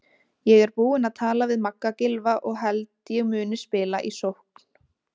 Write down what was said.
Ég er búinn að tala við Magga Gylfa og held ég muni spila í sókn.